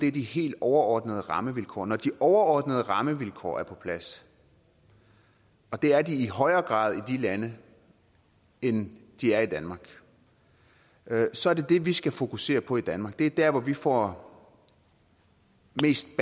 er de helt overordnede rammevilkår og når de overordnede rammevilkår er på plads og det er de i højere grad i de lande end de er i danmark så er det det vi skal fokusere på i danmark det er der hvor vi får mest